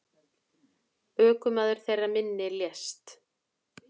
Ökumaður þeirrar minni lést.